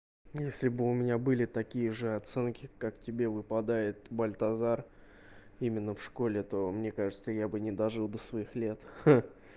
если бы у меня были такие же оценки как тебе выпадает бальтазар именно в школе то мне кажется я бы не дожил до своих лет